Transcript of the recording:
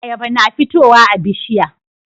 Ayaba na fitowa a bishiya